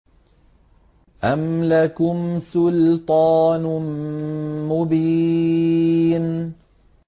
أَمْ لَكُمْ سُلْطَانٌ مُّبِينٌ